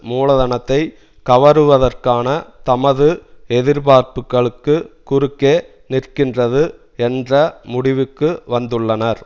முலதனத்தை கவருவதற்கான தமது எதிர்பார்ப்புகளுக்கு குறுக்கே நிற்கின்றது என்ற முடிவுக்கு வந்துள்ளனர்